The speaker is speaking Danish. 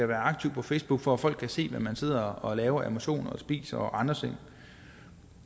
være aktiv på facebook for at folk kan se hvad man sidder og laver af motion spiser og andre ting